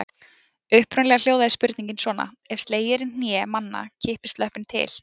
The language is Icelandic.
Upprunalega hljóðaði spurningin svona: Ef slegið er í hné manna kippist löppin til.